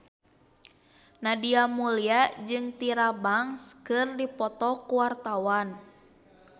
Nadia Mulya jeung Tyra Banks keur dipoto ku wartawan